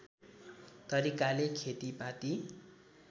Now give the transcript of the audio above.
तरिकाले खेतिपाती